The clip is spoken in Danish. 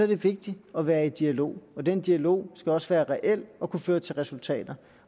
det vigtigt at være i dialog og den dialog skal også være reel og kunne føre til resultater